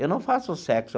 Eu não faço sexo.